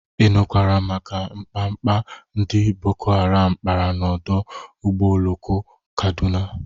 Ị nụkwara maka mkpamkpa ndị boko haram kpara n'ọdụ ụgbọ oloko Kadụna?